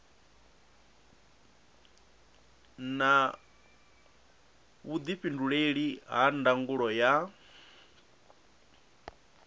na vhuifhinduleli ha ndangulo ya